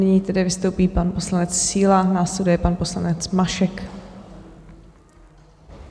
Nyní tedy vystoupí pan poslanec Síla, následuje pan poslanec Mašek.